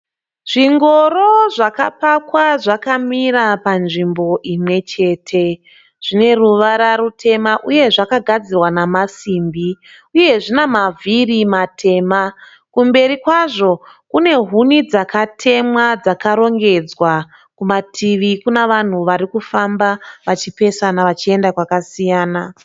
Zvingoro zvakapakwa zvakamira pazvimbo imwechete. Zvine ruvara rutema uye zvakagadzirwa namasimbi uye zvine maviri matema kumberi kwazvo. Kune huni dzakatemwa dzakarongedzwa kumativi kuna vanhu varikufamba vachipesana vachiyenda kwakasiyana.